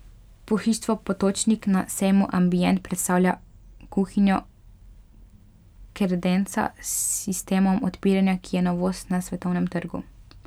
Pohištvo Potočnik na sejmu Ambient predstavlja kuhinjo Kredenca s sistemom odpiranja, ki je novost na svetovnem trgu.